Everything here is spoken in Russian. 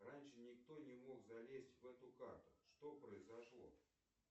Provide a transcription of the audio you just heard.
раньше никто не мог залезть в эту карту что произошло